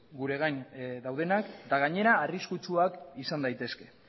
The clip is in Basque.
gure gain daudenak eta gainera arriskutsuak izan daitezke